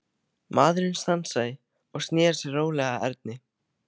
Maðurinn stansaði og sneri sér rólega að Erni.